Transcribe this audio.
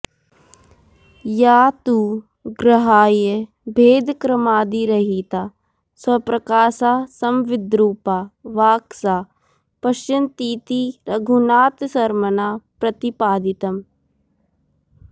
या तु ग्राह्यभेदक्रमादिरहिता स्वप्रकाशा संविद्रुपा वाक् सा पश्यन्तीति रघुनाथशर्मणा प्रतिपादितम्